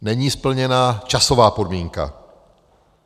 Není splněna časová podmínka.